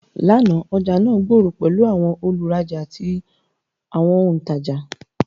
Làná, ọjà náà gbòòrò pẹ̀lú àwọn olùrajà àti àwọn olùtajà.